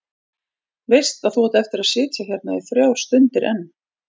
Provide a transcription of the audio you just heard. Veist að þú átt eftir að sitja hérna í þrjár stundir enn.